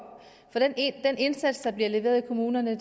for den indsats der bliver leveret i kommunerne